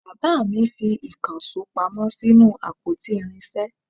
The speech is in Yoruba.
Bàbá mi fi ìkànsó pamọ́ sínú àpótí irinsé